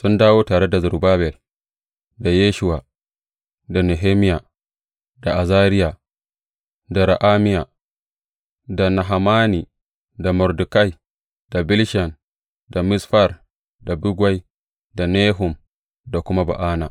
Sun dawo tare da Zerubbabel, da Yeshuwa, da Nehemiya, da Azariya, da Ra’amiya, da Nahamani, da Mordekai, da Bilshan, da Misfar, da Bigwai, da Nehum da kuma Ba’ana.